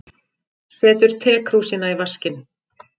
Setur tekrúsina í vaskinn.